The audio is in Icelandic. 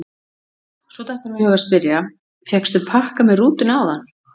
Svo datt honum í hug að spyrja: fékkstu pakka með rútunni áðan?